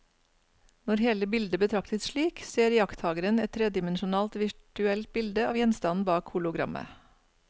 Når hele bildet betraktes slik, ser iakttakeren et tredimensjonalt virtuelt bilde av gjenstanden bak hologrammet.